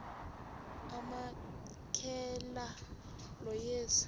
amamkela lo yesu